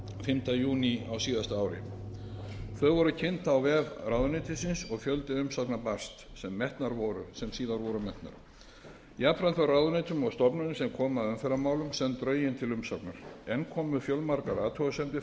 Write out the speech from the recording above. fimmta júní á síðasta ári þau voru kynnt á vef ráðuneytisins og fjöldi umsagna barst sem síðar voru metnar jafnframt voru ráðuneytum og stofnunum sem koma að umferðarmálum send drögin til umsagnar enn komu fjölmargar athugasemdir fram og var